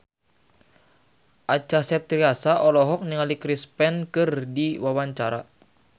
Acha Septriasa olohok ningali Chris Pane keur diwawancara